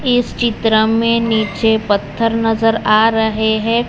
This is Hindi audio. इस चित्र में नीचे पत्थर नजर आ रहे है।